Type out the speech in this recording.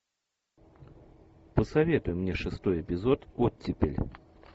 посоветуй мне шестой эпизод оттепель